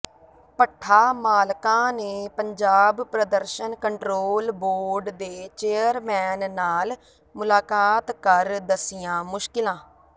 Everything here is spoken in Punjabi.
ਭੱਠਾ ਮਾਲਕਾਂ ਨੇ ਪੰਜਾਬ ਪ੍ਰਦਰਸ਼ਨ ਕੰਟਰੋਲ ਬੋਰਡ ਦੇ ਚੇਅਰਮੈਨ ਨਾਲ ਮੁਲਾਕਾਤ ਕਰ ਦੱਸੀਆਂ ਮੁਸ਼ਕਿਲਾਂ